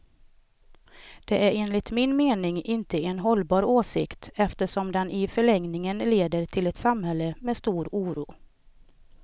Det är enligt min mening inte en hållbar åsikt, eftersom den i förlängningen leder till ett samhälle med stor oro.